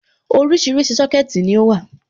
Oríṣiríṣi Sọ́kẹ̀tì ni ó wà.